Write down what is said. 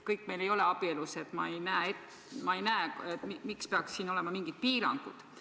Kõik meil ei ole abielus ja ma ei näe, miks peaks siin olema mingid piirangud.